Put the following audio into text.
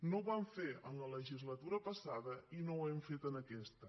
no ho vam fer en la legislatura passada i no ho hem fet en aquesta